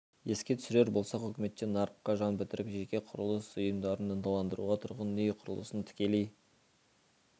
еске түсірер болсақ үкіметте нарыққа жан бітіріп жеке құрылыс ұйымдарын ынталандыруға тұрғын үй құрылысын тікелей